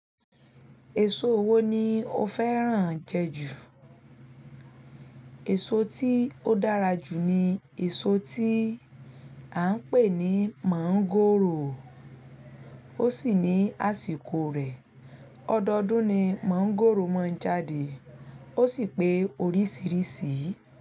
Èso wo ni o fẹ́ràn jẹ jù? Èso tí ó dára jù ni èso tí à ń pè ní mọ̀ngòrò, ó sì ní àsìkò rẹ̀. Ọdọdún ni mọ̀ngòrò máa ń jáde, ó sì pé oríṣìíríṣìí.